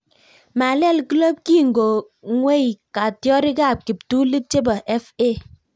Malel kloop kingongwei katyarik ap kiptulit chepo FA